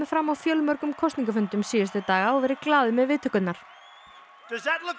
fram á fjölmörgum kosningafundum síðustu daga og verið glaður með viðtökurnar